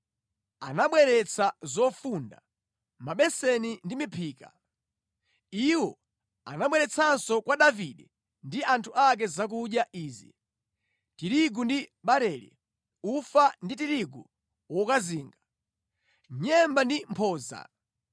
anabweretsa zofunda, mabeseni ndi miphika. Iwo anabweretsanso kwa Davide ndi anthu ake zakudya izi: tirigu ndi barele, ufa ndi tirigu wokazinga, nyemba ndi mphodza,